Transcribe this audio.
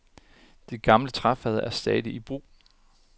De gamle træfade er stadig i brug.